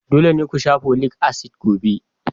Dole ne ku sha folic acid gobe!